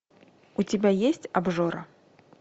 у тебя есть обжора